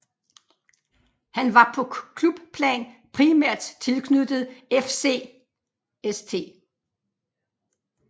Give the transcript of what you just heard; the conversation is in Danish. Han var på klubplan primært tilknyttet FC St